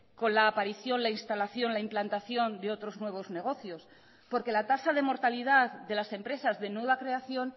con la aparición la instalación la implantación de otros nuevos negocios porque la tasa de mortalidad de las empresas de nueva creación